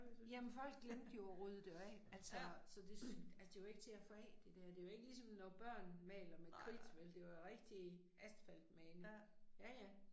Jamen folk glemte jo at rydde det af, altså, så det, altså det er jo ikke til at få af det der, det er jo ikke ligesom når børn maler med kridt vel, det var jo rigtig asfaltmaling, ja ja